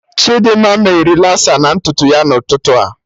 Chidimma mee relasa na ntutu ya na ụtụtụ a